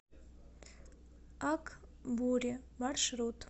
ак буре маршрут